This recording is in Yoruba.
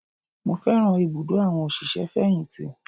Mo fẹ́ràn ibùdó àwọn òṣìṣẹ́-fẹ̀yìntì